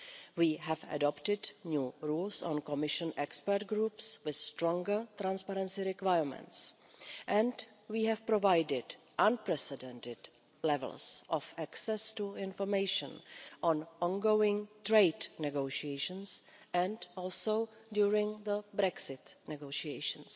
We have adopted new rules on Commission expert groups with stronger transparency requirements and we have provided unprecedented levels of access to information on ongoing trade negotiations and also during the Brexit negotiations.